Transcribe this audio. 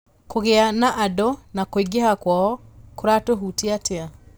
kũgĩa na andũ na kũingĩha kwao kũratũhutia atĩa